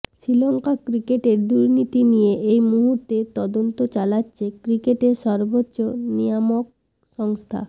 শ্রীলঙ্কা ক্রিকেটের দুর্নীতি নিয়ে এই মুহূর্তে তদন্ত চালাচ্ছে ক্রিকেটের সর্বোচ্চ নিয়ামক সংস্থা